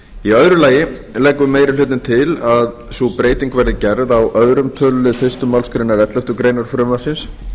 í öðru lagi leggur meiri hlutinn til að sú breyting verði gerð á öðrum tölulið fyrstu málsgrein elleftu greinar frumvarpsins